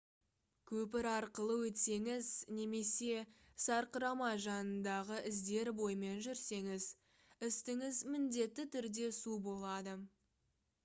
көпір арқылы өтсеңіз немесе сарқырама жанындағы іздер бойымен жүрсеңіз үстіңіз міндетті түрде су болады